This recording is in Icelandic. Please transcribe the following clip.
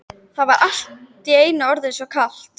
Það var allt í einu orðið svo kalt.